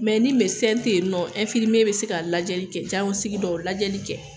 Mɛ ni mɛdesɛn te yen nɔ ɛnfirimiye be se ka lajɛli kɛ jaɲɔsiki dɔw lajɛli kɛ